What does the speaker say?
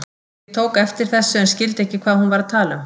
Ég tók eftir þessu en skildi ekki hvað hún var að tala um.